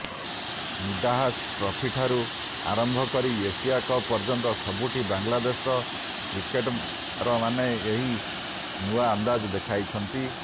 ନିଦାହସ୍ ଟ୍ରଫିଠାରୁ ଆରମ୍ଭ କରି ଏସିଆ କପ୍ ପର୍ଯ୍ୟନ୍ତ ସବୁଠି ବାଂଲାଦେଶର କ୍ରିକେଟର୍ମାନେ ଏହି ନୂଆ ଅନ୍ଦାଜ୍ ଦେଖାଇଛନ୍ତି